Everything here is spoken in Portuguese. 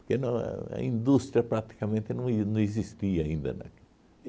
porque no a indústria praticamente não e não existia ainda aqui